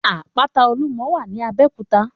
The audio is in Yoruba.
Àpàtá Ólúmò wà ní Abeokuta